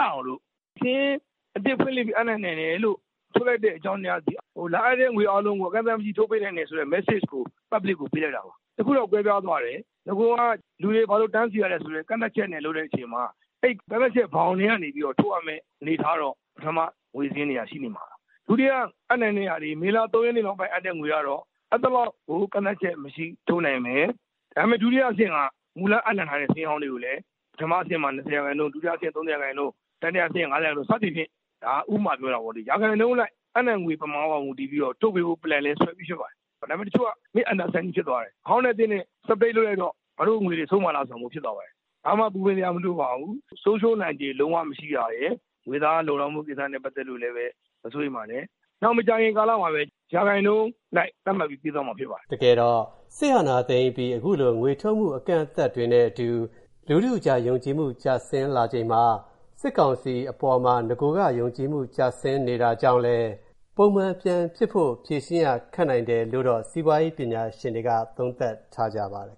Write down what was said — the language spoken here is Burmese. အောင်လို့ စာရင်းအသစ်ဖွင့်လှစ်ပြီး အပ်နိုင်တယ်လို့ ထုတ်ရတဲ့အကြောင်းတရားသည် လာအပ်တဲ့ ငွေတွေအားလုံး အကန့်အသတ်မရှိ ထုတ်ပေးနိုင်တယ်ဆိုတဲ့ Message ကို public ကိုပေးလိုက်တာပါ။ တခုတော့ ကွဲပြားသွားတယ် နဂိုက လူတွေဘာကြောင့်တန်းစီရတယ်ဆိုတဲ့ ကန့်သတ်ချက်နဲ့ လုပ်တဲ့အချိန်မှာ ကန့်သတ်ချက် ဘောင်ထဲကနေထုတ်ရမယ့် အနေအထားတော့ ပထမ ငွေစာရင်းတွေက ရှိနေမှာပါ။ ဒုတိယအပ်နှံတဲဟာတွေ မေလ ၃ ရက်နေ့ နောက်ပိုင်း အပ်နှံတဲ့ငွေတွေကတော့ အဲဒီလောက် ကန့်သတ်ချက်မရှိ ထုတ်နိုင်မယ်။ ဒါပေမယ့် ဒုတိယအဆင့်က မူလအပ်နှံထားတဲ့ စာရင်းဟောင်းမှာလည်း ပထမအဆင့်မှာ ၂၀ ရာခိုင်နှုန်း ၊ ဒုတိယအဆင့်မှာ ၃၀ရာခိုင်နှုန်း ၊ တတိယအဆင့် ၅၀ ရာခိုင်နှုန်း စသည်ဖြင့် ဒါက ဥပမာပြောတာပေါ့လေ၊ ရာခိုင်နှုန်းအလိုက် အပ်နှံငွေ ပမာဏအပေါ်မှာ မူတည်ပြီးတော့ ထုတ်ပေးဖို့ plan လည်းဆွဲပြီးဖြစ်ပါတယ်။ ဒါပေမယ့် တချို့က Misunderstanding ဖြစ်သွားတယ် ။ အဟောင်းနဲ့ အသစ်နဲ့ separate လုပ်လိုက်တော့ ငါတို့ငွေတွေဆုံးမှာလား ဆိုတာမျိုး ဖြစ်သွားပါတယ်။ ဘာမှ ပူပင်စရာမလိုပါဘူး၊ ဆုံးရှုံးနိုင်ချေ လုံးဝမရှိတာရယ် ငွေသားလုံလောက်မှု ကိစ္စနဲ့ ပတ်သက်လို့လည်း မစိုးရိမ်ပါနဲ့ ၊ နောက်မကြာခင်ကာလမှာလည်း ရာခိုင်နှုန်း အလိုက် သတ်မှတ်ပြီး ပေးသွားမှာ ဖြစ်ပါတယ်။” တကယ်တော့ စစ်အာဏာသိမ်းပြီး အခုလို ငွေထုတ်မှု အကန့်အသတ်တွေနဲ့အတူ လူထုအကြား ယုံကြည်မှု ကျဆင်းလာချိန်မှာ စစ်ကောင်စီအပေါ်မှာ နဂိုက ယုံကြည်မှု ကျဆင်းနေတာကြောင့်လည်း ပုံမှန်ပြန်ဖြစ်ဖို့ ဖြေရှင်းရ ခက်နိုင်တယ်လို့လည်း စီးပွားရေးပညာရှင်တွေက သုံးသပ်ထားကြပါတယ်